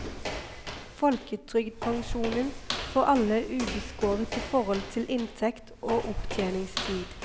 Folketrygdpensjonen får alle ubeskåret i forhold til inntekt og opptjeningstid.